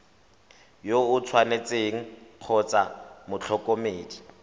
yo o tshwanetseng kgotsa motlhokomedi